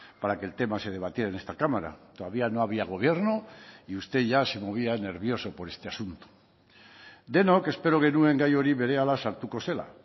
para que el tema se debatiera en esta cámara todavía no había gobierno y usted ya se movía nervioso por este asunto denok espero genuen gai hori berehala sartuko zela